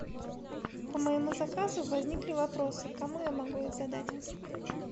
по моему заказу возникли вопросы кому я могу их задать